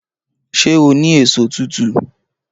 Ṣé o ní èso tútù?